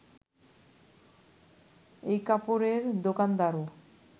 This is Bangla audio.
ওই কাপড়ের দোকানদারও